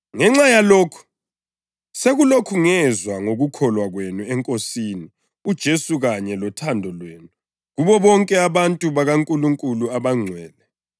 Ngenxa yalokhu, sekulokhu ngezwa ngokukholwa kwenu eNkosini uJesu kanye lothando lwenu kubo bonke abantu bakaNkulunkulu abangcwele,